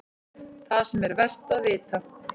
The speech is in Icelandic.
ÞAÐ SEM ER VERT AÐ VITA